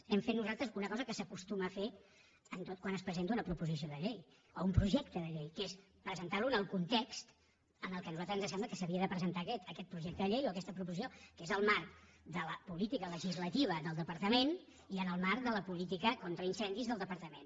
hem fet nosaltres una cosa que s’acostuma a fer quan es presenta una propo·sició de llei o un projecte de llei que és presentar·lo en el context en què a nosaltres ens sembla que s’havia de presentar aquest projecte de llei o aquesta proposi·ció que és el marc de la política legislativa del depar·tament i en el marc de la política contra incendis del departament